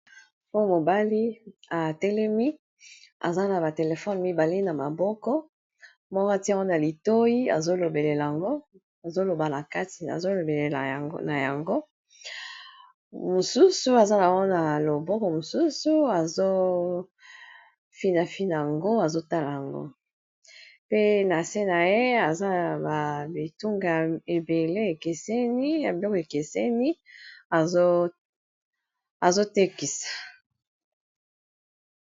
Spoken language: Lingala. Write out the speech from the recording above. po mobali atelemi aza na batelefone mibali na maboko mora tia wana litoi azolobelela yango azoloba na kati azolobelela na yango mosusu aza na wana loboko mosusu azofinafina yango azotala yango pe na se na ye aza na ba bitunga a ebele ekeseni ya biloko ekeseni azotekisa